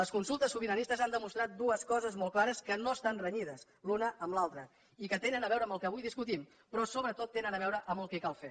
les consultes sobiranistes han demostrat dues coses molt clares que no estan renyides l’una amb l’altra i que tenen a veure amb el que avui discutim però sobretot tenen a veure amb el que cal fer